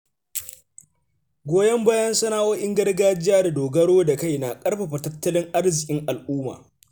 Goyon bayan sana’o’in gargajiya da dogaro da kai na ƙarfafa tattalin arzikin al’umma.